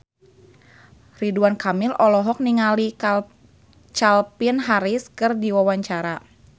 Ridwan Kamil olohok ningali Calvin Harris keur diwawancara